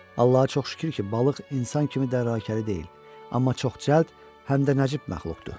Allaha çox şükür ki, balıq insan kimi dəlaləkəri deyil, amma çox cəld, həm də nəcib məxluqdur.